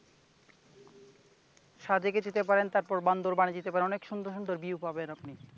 সাজেকে যেতে পারেন, তারপর বান্দরবানে যেতে পারেন অনেক সুন্দর সুন্দর view পাবেন আপনি ।